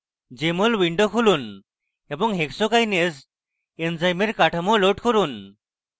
jmol window খুলুন এবং hexokinase এনজাইমের কাঠামো load করুন